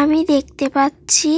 আমি দেখতে পাচ্ছি